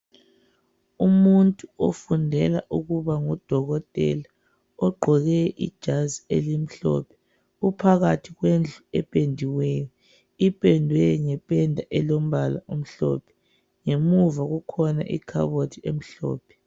Umuntu ofundela ukuba ngudokotela ogqoke ijazi elimhlophe. Uphakathi kwendlu ependiweyo. Ipendwe ngependa elombala omhlophe. Ngemuva kukhona ikhabothi elombala omhlophe.